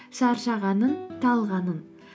шаршағанын талғанын